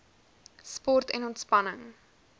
sport en ontspanning